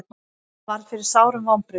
Hann varð fyrir sárum vonbrigðum.